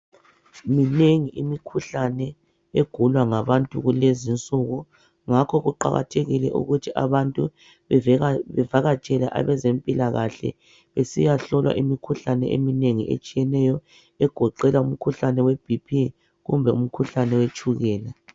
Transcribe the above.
Minengi imikhuhlane egulwa ngabantu kulezi insuku. Ngakho kuqakathekile ukuthi abantu bavakatshele abezempilakahle besiyahlolwa imikhuhlane egoqela ibhiphi kumbe owetshukela.